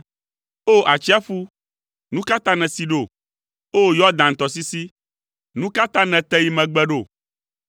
O! Atsiaƒu, nu ka ta nèsi ɖo, O! Yɔdan tɔsisi, nu ka ta nète yi megbe ɖo?